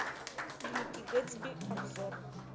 великий гэтсби обзор